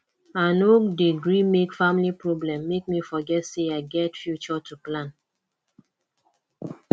i no dey gree make family problem make me forget sey i get future to plan